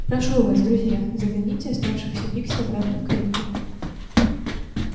прошу вас друзья загоните оставшихся пикси обратно в клетку